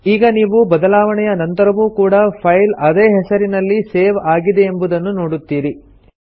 ಈಗ ನೀವು ಬದಲಾವಣೆಯ ನಂತರವೂ ಕೂಡಾ ಫೈಲ್ ಅದೇ ಹೆಸರಿನಲ್ಲಿ ಸೇವ್ ಆಗಿದೆಯೆಂಬುದನ್ನು ನೋಡುತ್ತೀರಿ